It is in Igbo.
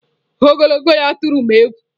Ogologo ya tụrụ m egwu.